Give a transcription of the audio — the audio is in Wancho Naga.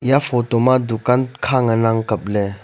iya photo ma dukan kha ngan ang kapley.